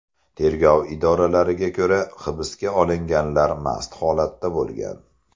Tergov idoralariga ko‘ra, hibsga olinganlar mast holatda bo‘lgan.